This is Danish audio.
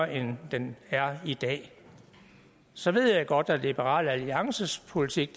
end den er i dag så ved jeg godt at liberal alliances politik